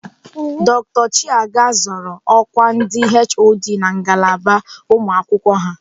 Dr Chiaga zọrọ ọkwa ndị HOD na ngalaba ụmụakwụkwọ ha.